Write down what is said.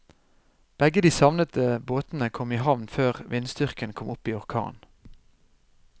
Begge de savnede båtene kom i havn før vindstyrken kom opp i orkan.